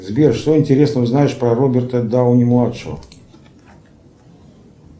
сбер что интересного знаешь про роберта дауни младшего